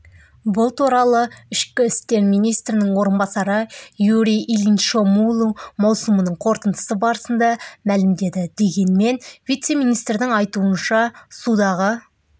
бұл туралы ішкі істер министрінің орынбасары юрий ильиншомылу маусымының қорытындысы барысында мәлімдеді дегенмен вице-министрдің айтуынша судағы